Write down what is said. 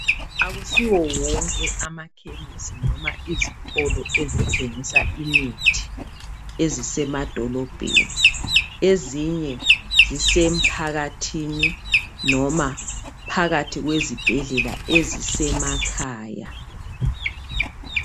Akusiwo wonke amakhemisi noma izitolo ezithengisa imithi ezisemadolobheni ezinye zisemphakathini noma phakathi kwezibhedlela ezisemakhaya.